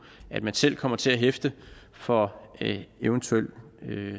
at man selv kommer til at hæfte for eventuelle